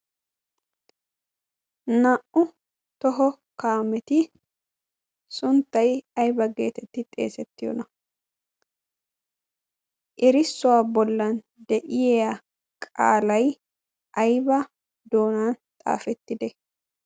naa'u toho kaameti suntty ayba geetetti xeesettiyoona ?erissuwaa bollan de'iya qaalay ayba doonan xaafettide?